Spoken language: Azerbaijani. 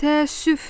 Təəssüf.